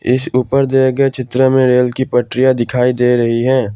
इस ऊपर दिए गए चित्र में रेल की पटरिया दिखाई दे रही हैं।